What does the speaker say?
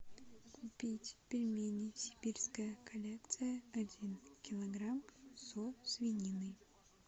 купить пельмени сибирская коллекция один килограмм со свининой